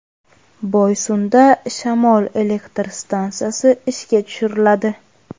Boysunda shamol elektr stansiyasi ishga tushiriladi.